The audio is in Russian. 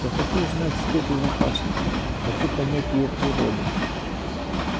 я хочу знать степень опасности хочу понять её природу